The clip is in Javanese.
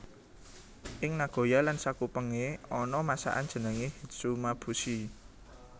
Ing Nagoya lan sakupenge ana masakan jenenge hitsumabushi